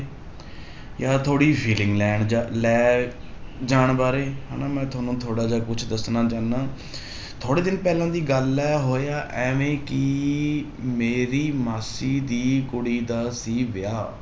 ਜਾਂ ਥੋੜ੍ਹੀ ਜਿਹੀ feeling ਲੈਣ ਜਾ~ ਲੈ ਜਾਣ ਬਾਰੇ ਹਨਾ, ਮੈਂ ਤੁਹਾਨੂੰ ਥੋੜ੍ਹਾ ਜਿਹਾ ਕੁਛ ਦੱਸਣਾ ਚਾਹੁਨਾ ਥੋੜ੍ਹੇ ਦਿਨ ਪਹਿਲਾਂ ਦੀ ਗੱਲ ਹੈ ਹੋਇਆ ਇਵੇਂ ਕਿ ਮੇਰੀ ਮਾਸੀ ਦੀ ਕੁੜੀ ਦਾ ਸੀ ਵਿਆਹ